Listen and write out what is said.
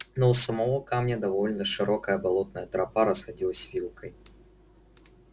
но у самого камня довольно широкая болотная тропа расходилась вилкой